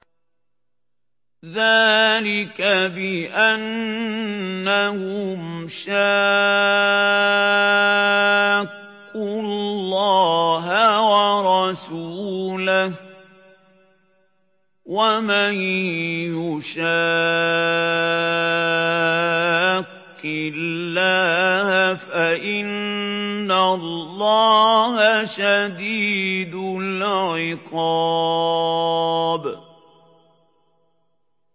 ذَٰلِكَ بِأَنَّهُمْ شَاقُّوا اللَّهَ وَرَسُولَهُ ۖ وَمَن يُشَاقِّ اللَّهَ فَإِنَّ اللَّهَ شَدِيدُ الْعِقَابِ